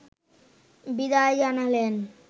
বিদায় জানালেন